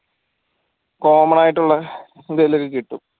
common ആയിട്ടുള്ള എന്തേലും ഒക്കെ കിട്ടും